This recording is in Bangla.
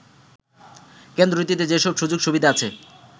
কেন্দ্রটিতে যেসব সুযোগ সুবিধা আছে